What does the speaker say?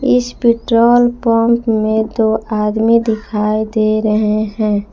इस petrol pump में दो आदमी दिखाई दे रहे हैं।